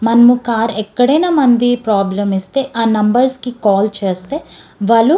మనము కార్ ఎక్కడైనా మనది ప్రాబ్లెమ్ ఇస్తే ఆ నంబర్స్ కి కాల్ చేస్తే వాళ్ళు --